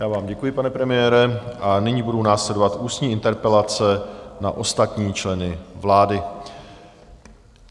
Já vám děkuji, pane premiére, a nyní budou následovat ústní interpelace na ostatní členy vlády.